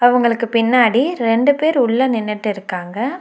இவங்களுக்கு பின்னாடி ரெண்டு பேர் உள்ள நின்னுட்டு இருக்காங்க.